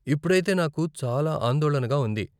ఇప్పుడైతే నాకు చాలా ఆందోళనగా ఉంది.